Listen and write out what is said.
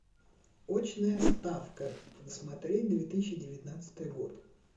очная ставка смотреть две тысячи девятнадцатый год